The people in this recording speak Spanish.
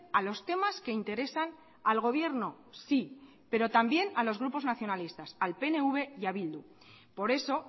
a los temas que interesan al gobierno sí pero también a los grupos nacionalistas al pnv y a bildu por eso